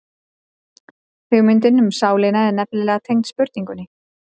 Hugmyndin um sálina er nefnilega tengd spurningunni.